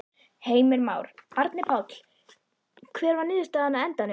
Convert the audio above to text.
Heimir Már: Árni Páll, hver var niðurstaðan á endanum?